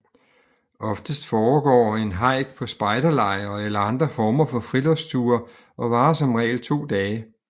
Oftest foregår en hejk på spejderlejre eller andre former for friluftsture og varer som regel 2 dage